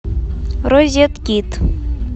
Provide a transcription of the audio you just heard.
розеткид